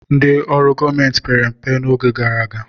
Ndị ọrụ gọọmenti pere mpe n'oge gara aga.